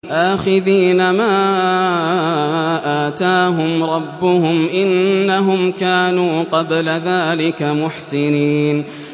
آخِذِينَ مَا آتَاهُمْ رَبُّهُمْ ۚ إِنَّهُمْ كَانُوا قَبْلَ ذَٰلِكَ مُحْسِنِينَ